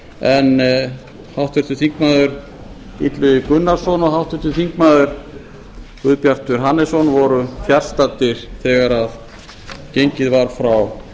en háttvirtur þingmaður illugi gunnarsson og háttvirtir þingmenn guðbjartur hannesson voru fjarstaddir þegar gengið var frá